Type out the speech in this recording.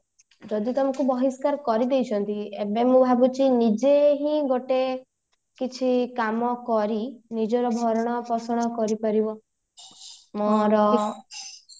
ଯଦି ତମକୁ ବହିସ୍କାର କରିଦେଇଛନ୍ତି ଏବେ ମୁଁ ଭାବୁଛି ନିଜେ ହିଁ ଗୋଟେ କିଛି କାମ କରି ନିଜର ଭରଣ ପୋଷଣ କରିପାରିବମୋର